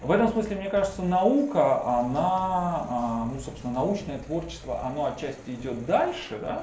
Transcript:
в этом смысле мне кажется наука она ну собственно научное творчество оно отчасти идёт дальше да